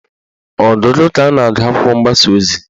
Ọgụgụ ka a na-agụ akwụkwọ mgbasa ozi